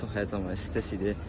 Çox həyəcanlı və stress idi.